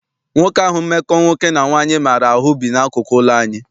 Nwoke ahụ mmekọ nwoke na nwaanyị maara ahụ bi n'akụkụ ụlọ anyị.